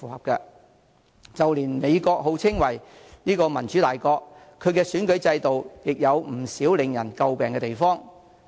即使美國號稱為民主大國，其選舉制度亦有不少為人詬病的地方。